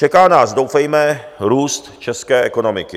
Čeká nás, doufejme, růst české ekonomiky.